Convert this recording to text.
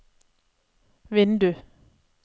vindu